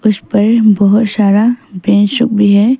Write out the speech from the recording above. में बहुत सारा बेंच भी है।